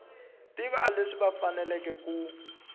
tiva leswi va faneleke ku